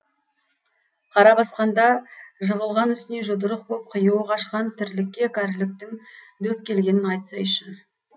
қара басқанда жығылған үстіне жұдырық боп қиюы қашқан тірлікке кәріліктің дөп келгенін айтсайшы